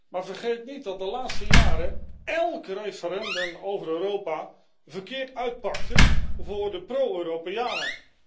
Maar vergeet niet dat de laatste jaren elk referendum over Europa verkeerd uitpakte voor de pro Europeanen.